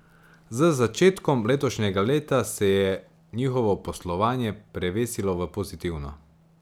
Z začetkom letošnjega leta se je njihovo poslovanje prevesilo v pozitivno.